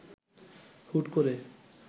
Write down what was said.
হুট করে